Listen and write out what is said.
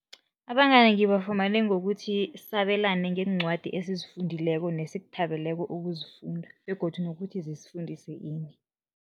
Abangani ngibafumane ngokuthi sabelane ngeencwadi esizifundileko nesikuthabeleko ukuzifunda begodu nokuthi zisifundise ini.